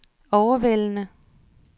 overvældende